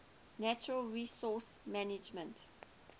natural resource management